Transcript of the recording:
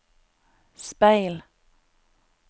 speil